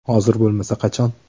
Hozir bo‘lmasa qachon?